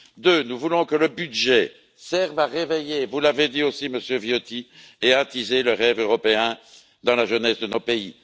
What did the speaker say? Deuxièmement, nous voulons que le budget serve à réveiller, vous l'avez dit aussi, Monsieur Viotti, et à attiser le rêve européen dans la jeunesse de nos pays.